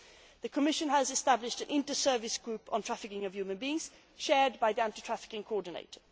The Commission has established an inter service group on trafficking of human beings shared by the anti trafficking coordinator.